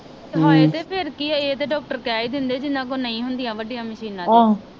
ਹਾਏ ਤੇ ਫਿਰ ਕੀ ਆ ਇਹ ਤਾ ਡਾਕਟਰ ਕਹਿ ਹੀ ਦਿੰਦੇ ਜਿਨ੍ਹਾਂ ਕੋਲ ਨਹੀਂ ਹੁੰਦੀਆਂ ਵਡੀਆਂ ਮਸ਼ੀਨਾਂ ਤੇ